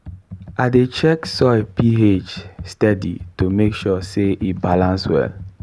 i dey check soil ph steady to make sure say e balance well.